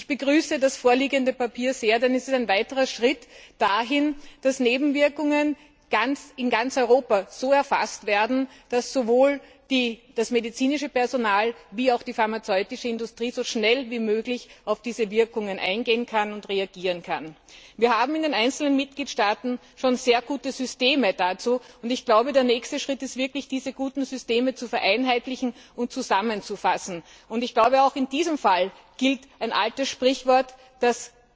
Ich begrüße das vorliegende Papier sehr, denn es ist ein weiterer Schritt dahin, dass Nebenwirkungen in ganz Europa so erfasst werden, dass sowohl das medizinische Personal als auch die pharmazeutische Industrie so schnell wie möglich auf diese Wirkungen eingehen und reagieren kann. Wir haben in den einzelnen Mitgliedstaaten schon sehr gute Systeme dafür, und der nächste Schritt ist, diese guten Systeme zu vereinheitlichen und zusammenzufassen. Auch in diesem Fall gilt ein altes Sprichwort Das